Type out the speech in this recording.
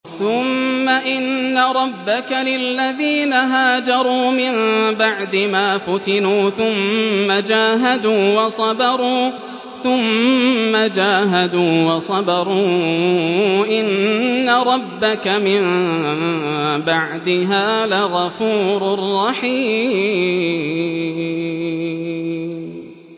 ثُمَّ إِنَّ رَبَّكَ لِلَّذِينَ هَاجَرُوا مِن بَعْدِ مَا فُتِنُوا ثُمَّ جَاهَدُوا وَصَبَرُوا إِنَّ رَبَّكَ مِن بَعْدِهَا لَغَفُورٌ رَّحِيمٌ